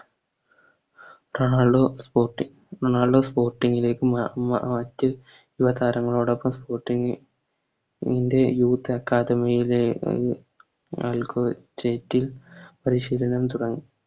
Ronaldo Sporting Ronaldo Sporting ലേക്ക് മ മറ്റ് യുവ താരങ്ങളോടൊപ്പം Sporting ൻറെ Youth academy യിലേ അൽക്കൊച്ചേറ്റിൽ പരിശീലനം തുടങ്ങി